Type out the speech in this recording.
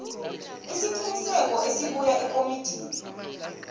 isiqinisekiso esibuya ekomitini